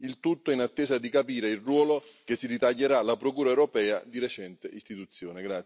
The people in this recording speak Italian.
Il tutto in attesa di capire il ruolo che si ritaglierà la Procura europea di recente istituzione.